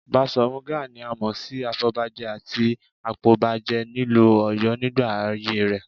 Baṣọ̀run Gáà ni a mọ̀ sí afọ̀bajẹ àti apọbajẹ nílùú Ọ̀yọ́ nígbà ayé rẹ